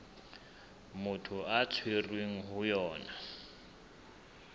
motho a tshwerweng ho yona